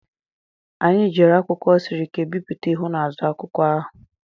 Anyị jiri akwụkwọ siri ike bipụta ihu na azụ akwụkwọ ahụ.